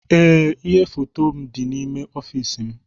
Ee ihe foto m dị n'ime ọfiisi m